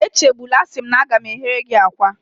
Echegbula, a sị m gị na m ga-eghere gị akwa